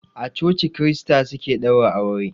A coci krista suke ɗaura aure.